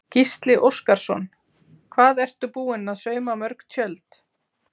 Gísli Óskarsson: Hvað ertu búin að sauma mörg tjöld?